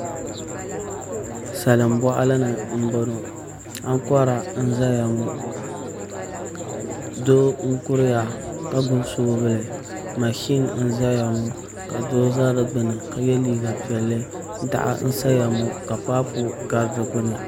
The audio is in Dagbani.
Salin boɣali ni n boŋo ankora n ʒɛya ŋo doo n kuriya ka gbubi soobuli mashin n ʒɛya ŋo ka doo ʒɛ di gbuni ka yɛ liiga piɛlli daɣu n saya ŋo ka paapu gari di gbuni